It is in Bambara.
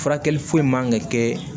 Furakɛli foyi man kan ka kɛ